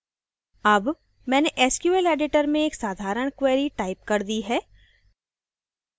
अब मैंने sql editor में एक साधारण query टाइप कर दी है